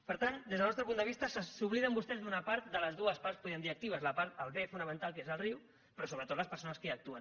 per tant des del nostre punt de vista s’obliden vostès d’una part de les dues parts podríem dir actives el bé fonamental que és el riu però sobretot les persones que hi actuen